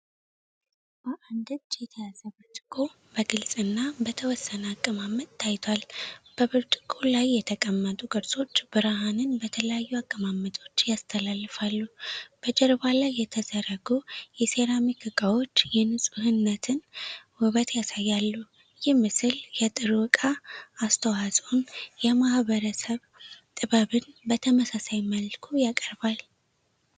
በአንድ እጅ የተያዘ ብርጭቆ በግልጽ እና በተወሰነ አቀማመጥ ታይቷል። በብርጭቆው ላይ የተቀመጡ ቅርጾች ብርሃንን በተለያዩ አቀማመጦች ያስተላልፋሉ። በጀርባ ላይ የተዘረጉ የሴራሚክ እቃዎች የንፁህነትን ውበትን ያሳያሉ። ይህ ምስል የጥሩ እቃ አስተዋፅኦን የማህበረሰብ ጥበብን በተመሳሳይ መልኩ ያቀርባል።